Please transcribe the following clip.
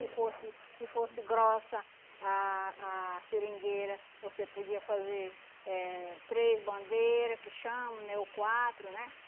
fosse se fosse grossa a a seringueira, você podia fazer eh três bandeira, que chamam, né, ou quatro, né?